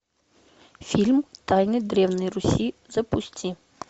фильм тайны древней руси запусти